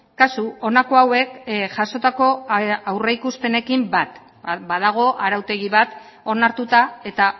kasu honako hauek jasotako aurreikuspenekin bat badago arautegi bat onartuta eta